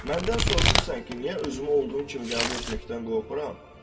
Məndən soruşursan ki, niyə özümü olduğum kimi qəbul etməkdən qorxuram?